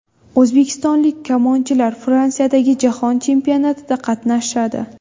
O‘zbekistonlik kamonchilar Fransiyadagi jahon chempionatida qatnashadi.